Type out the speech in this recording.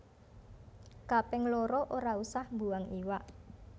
Kaping loro ora usah mbuang iwak